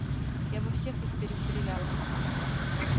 я бы всех их перестреляла